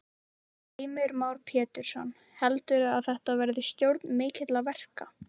Heimir Már Pétursson: Heldurðu að þetta verði stjórn mikilla verka?